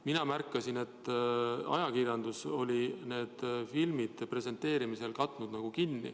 Mina märkasin, et ajakirjandus oli nende piltide presenteerimisel näod kinni katnud.